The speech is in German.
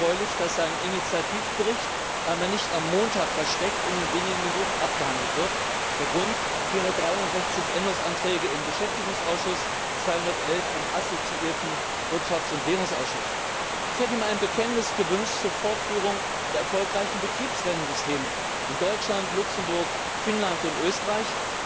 Es ist erfreulich, dass ein Initiativbericht einmal nicht am Montag versteckt und in wenigen Minuten abgehandelt wird. Der Grund 463 Änderungsanträge im Beschäftigungsausschuss, 211 im assoziierten Wirtschafts und Währungsausschuss. Ich hätte mir ein Bekenntnis gewünscht zur Fortführung der erfolgreichen Betriebsrentensysteme in Deutschland, Luxemburg, Finnland und Österreich.